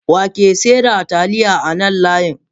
Wake seda taliya a nan layin?